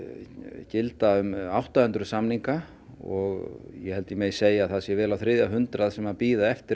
gilda um átta hundruð samninga og ég held ég megi segja að það séu vel á þriðja hundrað sem bíða eftir